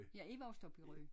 Jeg er vokset op i Rø